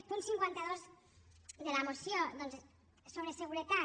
punt cinquanta dos de la moció sobre seguretat